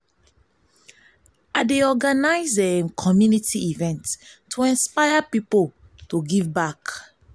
i dey organize community events to inspire pipo to give back.